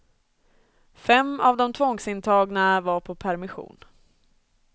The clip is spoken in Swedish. Fem av de tvångsintagna var på permission.